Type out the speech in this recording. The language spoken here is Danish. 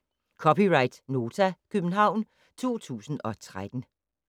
(c) Nota, København 2013